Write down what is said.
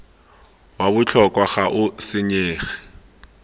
wa botlhokwa ga o senyege